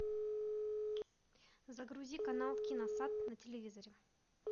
загрузи канал киносад на телевизоре